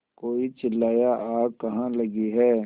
कोई चिल्लाया आग कहाँ लगी है